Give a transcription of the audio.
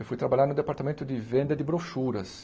Eu fui trabalhar no departamento de venda de brochuras.